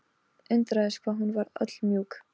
Undraðist hvað hún var öll mjúk.